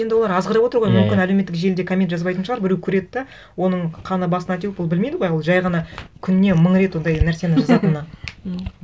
енді олар азғырып отыр ғой иә иә мүмкін әлеуметтік желіде коммент жазбайтын шығар біреу көреді де оның қаны басына теуіп ол білмейді ғой ол жай ғана күніне мың рет ондай нәрсені жазатыны